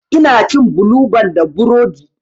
Ina cin bulu ban da burodi.